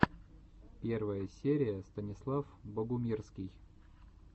первая серия станислав богумирский